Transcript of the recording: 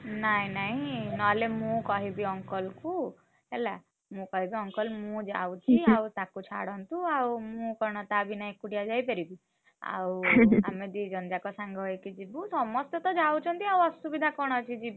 ନାଇଁ ନାଇଁ ନହେଲେ ମୁଁ କହିବି uncle ଙ୍କୁ, ହେଲା, ମୁଁ କହିବି uncle ମୁଁ ଯାଉଛି ଆଉ ତାକୁ ଛାଡନ୍ତୁ ଆଉ ମୁଁ କଣ ତା ବିନା ଏକୁଟିଆ ଯାଇପାରିବି। ଆଉ ଆଉ ଆମେ ଦିଜଣ ଜାକ ସାଙ୍ଗ ହେଇକି ଯିବୁ। ସମସ୍ତେତ ଯାଉଛନ୍ତି ଆଉ ଅସୁବିଧା କଣ ଅଛି।